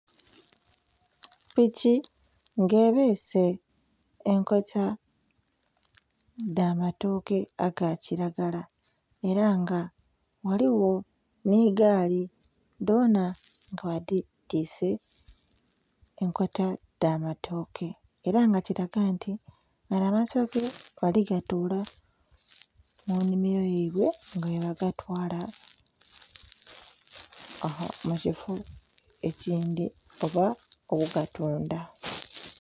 Piki nga ebese enkota edhamatooke agakiragala era nga ghaligho nhegaali dhona nga badhitise enkota edhamatooke era nga kiraga nti gano amatooke baligatola munimiro yaibwe nga bwebagatwala mukifo ekindhi oba ogatundha.